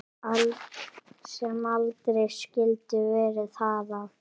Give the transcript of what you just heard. Sem aldrei skyldi verið hafa.